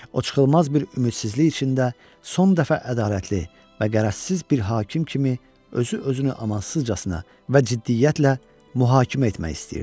O çıxılmaz bir ümidsizlik içində son dəfə ədalətli və qərəzsiz bir hakim kimi özü-özünü amansızcasına və ciddiyyətlə mühakimə etmək istəyirdi.